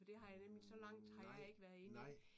For det har jeg nemlig så langt har jeg ikke været inde jeg